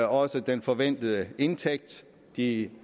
også den forventede indtægt de